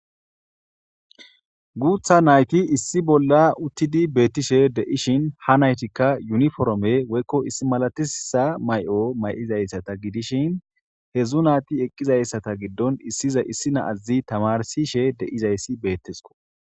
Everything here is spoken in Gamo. Guutta naayti issi bolla uttidi be'etishe de'ishin, ha naytikka yuniforame woyko issi malatissisa mayo mayizata gidishin, hezzu naati eqqiza issata giddon issiza issi na'azzi tamarsishe de'izayssi be'ettisoko.